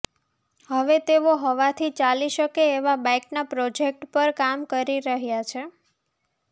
હવે તેઓ હવાથી ચાલી શકે એવાં બાઈકનાં પ્રોજેક્ટ પર કામ કરી રહ્યાં છે